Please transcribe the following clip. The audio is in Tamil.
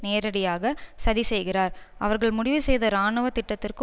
நேரடியாக சதி செய்கிறார் அவர்கள் முடிவு செய்த இராணுவ திட்டத்திற்கு